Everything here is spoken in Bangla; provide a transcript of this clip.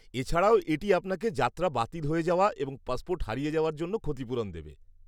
এছাড়াও, এটি আপনাকে যাত্রা বাতিল হয়ে যাওয়া এবং পাসপোর্ট হারিয়ে যাওয়ার জন্য ক্ষতিপুরণ দেবে।